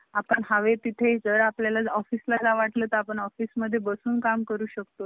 आपण हवे तिथे जर आपल्याला office ला जावा कि office मधून बसून काम करू शाक्तू